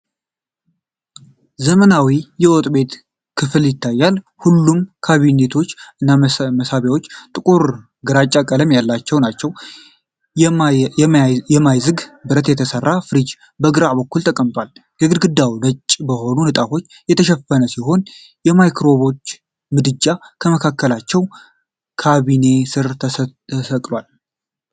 ዘመናዊ የወጥ ቤት ክፍል ይታያል፤ ሁሉም ካቢኔቶች እና መሳቢያዎች ጥቁር ግራጫ ቀለም ያላቸው ናቸው። ከማይዝግ ብረት የተሰራ ፍሪጅ በግራ በኩል ተቀምጧል። ግድግዳው ነጭ በሆኑ ንጣፎች የተሸፈነ ሲሆን፣ ማይክሮዌቭ ምድጃ ከመካከለኛው ካቢኔ ስር ተሰቅሏል።